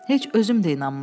Heç özüm də inanmırdım.